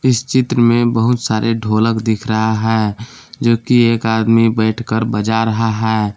इस चित्र में बहुत सारे ढोलक दिख रहा है जो कि एक आदमी बैठ कर बजा रहा है।